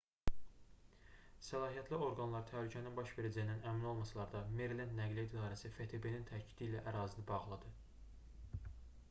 səlahiyyətli orqanlar təhlükənin baş verəcəyindən əmin olmasalar da merilend nəqliyyat i̇darəsi ftb-nin təkidi ilə ərazini bağladı